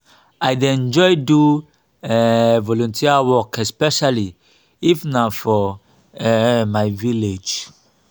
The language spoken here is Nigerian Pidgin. i dey enjoy do um volunteer work especially if na for um my village